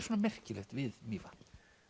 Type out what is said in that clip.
svona merkilegt við Mývatn